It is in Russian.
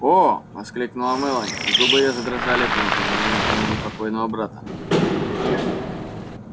о воскликнула мелани и губы её задрожали при упоминании имени покойного брата